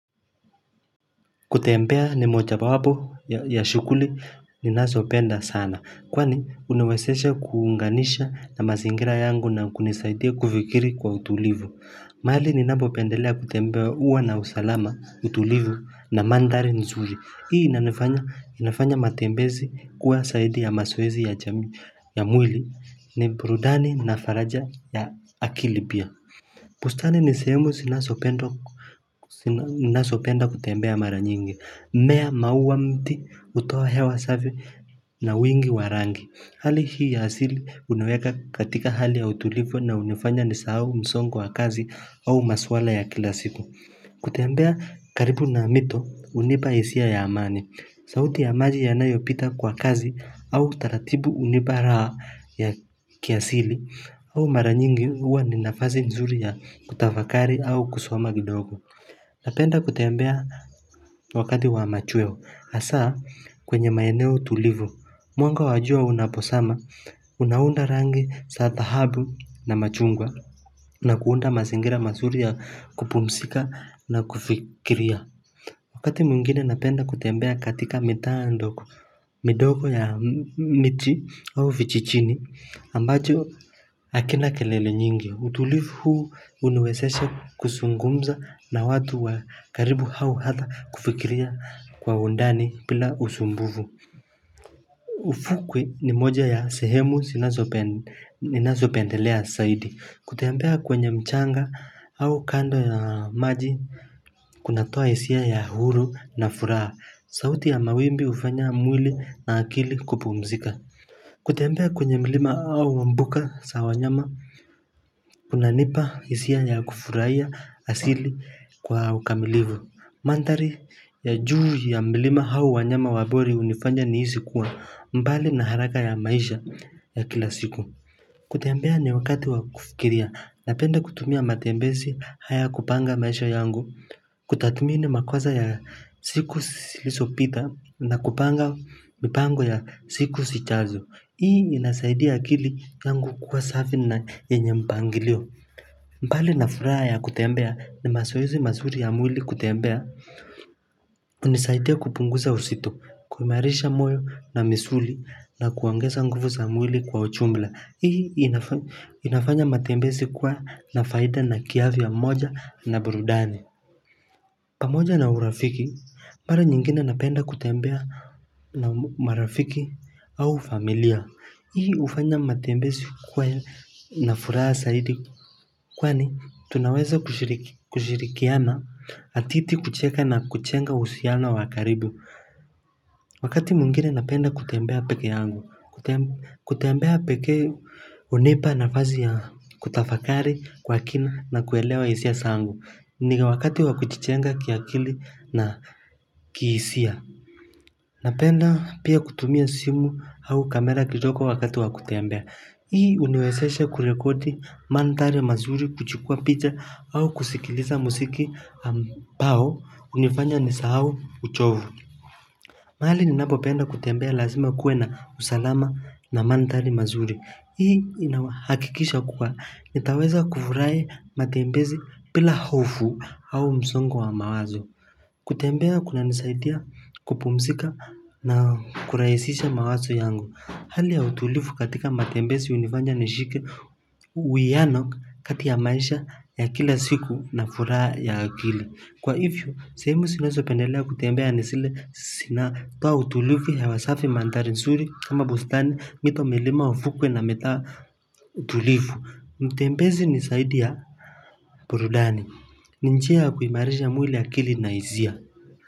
Kutembea ni moja wapo ya shughuli ninasopenda sana kwani huniwesesha kuunganisha na mazingira yangu na kunisaidia kufikiri kwa utulivu mahali ninapopendelea kutembea huwa na usalama utulivu na mandhari nzuri Hii inanifanya inafanya matembezi kuwa saidi ya masoezi ya mwili ni burudani na faraja ya akili pia Pustani ni sehemu sinasopendwa ninasopenda kutembea mara nyingi, mimea maua mti hutoa hewa safi na wingi wa rangi. Hali hii ya asili huniweka katika hali ya utulifu na hunifanya nisahau msongo kwa kazi au maswala ya kila siku. Kutembea karibu na mito hunipa hisia ya amani sauti ya maji yanayopita kwa kazi au taratibu hunipa raha ya kiasili au mara nyingi huwa ni nafasi nzuri ya kutafakari au kusoma kidogo Napenda kuteambea wakati wa machweo hasa kwenye maeneo tulivu Mwanga wa jua unaposama unaunda rangi sa dhahabu na machungwa na kuunda mazingira mazuri ya kupumsika na kufikiria Wakati mwingine napenda kutembea katika mitaa ndogo midogo ya michi au vichichini ambacho akina kelele nyingi utulifu huu huniwesesha kuzungumza na watu wa karibu au hata kufikiria kwa undani pila usumbuvu ufukwe ni moja ya sehemu sinazopende ninazopendelea saidi Kuteambea kwenye mchanga au kando ya maji kunatoa hisia ya huru na furaha sauti ya mawimbi hufanya mwili na akili kupumzika Kuteambea kwenye mlima au mbuka sa wanyama kunanipa hisia ya kufurahia asili kwa ukamilivu Mandhari ya juu ya milima au wanyama wa bori hunifanya nihisi kuwa mbali na haraka ya maisha ya kila siku kutembea ni wakati wa kufikiria, napenda kutumia matembesi haya kupanga maisha yangu, kutathmini makoza ya siku silisopita na kupanga mipango ya siku sichazo. Hii inasaidia akili yangu kuwa safi na yenye mpangilio. Mbali na furaha ya kutembea ni masoezi mazuri ya mwili kutembea. Hunisaidia kupunguza usito, kuimarisha moyo na misuli na kuongeza nguvu za mwili kwa uchumbla. Hii inafanya matembesi kwa na faida na kiafya moja na burudani pamoja na urafiki, para nyingine napenda kutembea na marafiki au familia hii hufanya matembesi kuwa na furaha saidi Kwani, tunaweza kushiriki kushirikiana atiti kucheka na kuchenga uhusiano wa karibu Wakati mwingine napenda kutembea peke yangu kutembea pekee hunipa nafazi ya kutafakari kwa kina na kuelewa hisia sangu ni wakati wa kuchichenga kiakili na kihisia Napenda pia kutumia simu au kamera kijoko wakati wa kutembea Hii huniwezeshe kurekodi mandhari mazuri kuchukua picha au kusikiliza musiki pao hunifanya nisahau uchovu mahali ninapopenda kutembea lazima kuwe na usalama na mandhari mazuri. Hii inahakikisha kuwa. Nitaweza kufurahi matembezi bila hofu au msongo wa mawazo. Kutembea kunanisaidia kupumsika na kurahisisha mawazo yangu. Hali ya utulifu katika matembezi hunifanja nishike uiano kati ya maisha ya kila siku na furaha ya akili. Kwa hivyo, sehemu sinasopendelea kutembea ni sile sinatoa utulifu hewa safi mandhari nsuri kama bustani mito milima ufukwe na mitaa tulifu. Mutembezi ni saidi ya burudani. Ni njia ya kuimarisha mwili akili na hizia.